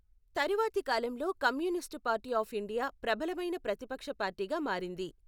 తరువాతికాలంలో Communist Party of India ప్రబలమైన ప్రతిపక్ష పార్టీగా మారింది.